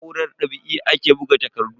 Da na'urar ɗab'i ake buga takardu.